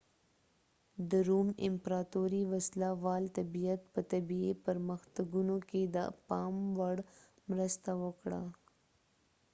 د روم امپراطورۍ وسله وال طبیعت په طبي پرمختګونو کې د پام وړ مرسته وکړه